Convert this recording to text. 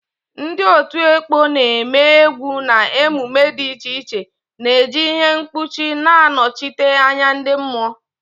Ndị otu ekpo na-eme egwu na emume dị iche iche na-eji ihe mkpuchi na-anọchite anya ndị mmụọ.